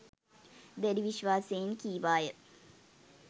දැඩි විශ්වාසයෙන් කීවාය.